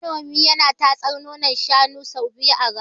Manomi yana tatsar nonon shanun sau biyu a rana.